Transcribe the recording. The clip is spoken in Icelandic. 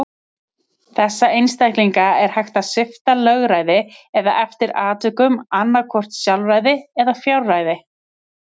Þessa einstaklinga er hægt að svipta lögræði, eða eftir atvikum annað hvort sjálfræði eða fjárræði.